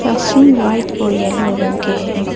Classroom white और yellow रंग के है।